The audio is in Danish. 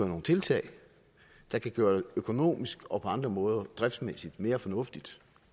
nogle tiltag der kan gøre det økonomisk og på andre måder driftsmæssigt mere fornuftigt